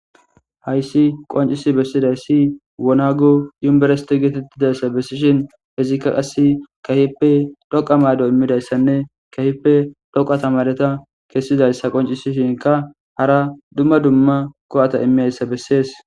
hayssi qoncisi bessidayssi wonagu yumberesiti geetettidayssa bessishin hezikka qasse kahippe dhoqa maydo immidayssanne kehipe dhoqa tamareta kessizayssa qoncisishinka hara dumma dumma ko7ata immeyssa bessees